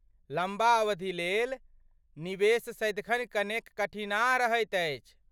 लम्बा अवधिलेल निवेश सदिखन कनेक कठिनाह रहैत अछि।